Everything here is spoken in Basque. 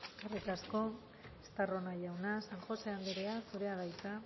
eskerrik asko estarrona jauna san josé anderea zurea da hitza